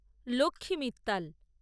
Lakshmi Mittal